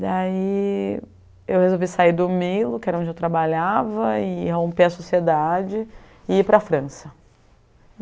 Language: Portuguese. Daí, eu resolvi sair do Milo, que era onde eu trabalhava, e romper a sociedade e ir para a França.